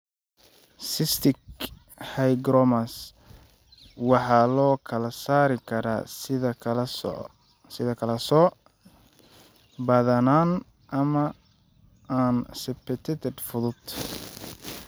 Cystic hygromas waxaa loo kala saari karaa sida kala-sooc (badanaan) ama aan septated (fudud).